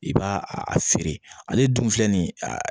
I b'a a feere ale dun filɛ ni ye a